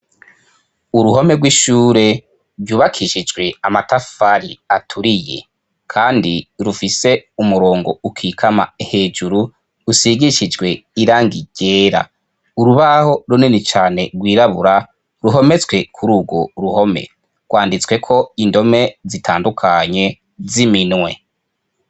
Uruhome rw'ishure, ryubakishijwe amatafari aturiye. Kandi rufise umurongo ukikama hejuru, rusigishijwe irangi ryera. Urubaho runini cane rwirabura, ruhometswe kuri uwo ruhome. Rwanditsweko indome zitandukanye, z'iminwe.